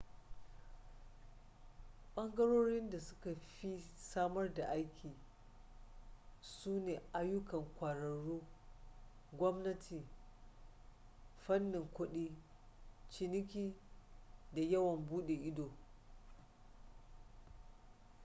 ɓangarorin da suka fi samar da aiki su ne ayyukan ƙwararru gwamnati fannin kudi ciniki da yawon buɗe ido